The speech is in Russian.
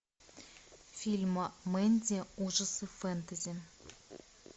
фильм мэнди ужасы фэнтези